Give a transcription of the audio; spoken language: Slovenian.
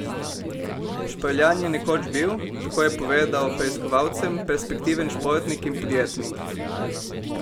Šprljan je nekoč bil, tako je povedal preiskovalcem, perspektiven športnik in podjetnik.